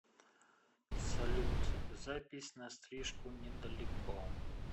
салют запись на стрижку недалеко